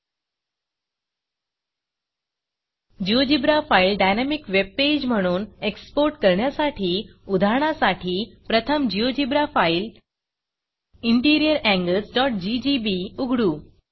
GeoGebra file dynamic webpage म्हणून export करण्यासाठी उदाहरणा साठी प्रथम GeoGebraजियोजीब्रा फाईल इंटिरियर anglesजीजीबी उघडू